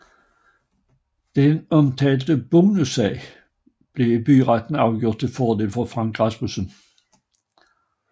Den omtalte bonussag blev i byretten afgjort tilfordel for Frank Rasmussen